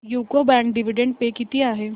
UCO bank dividend pay किती आहे